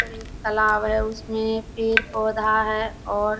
यहाँ पर एक तालाब है उसमे पेड़ पौधा है और --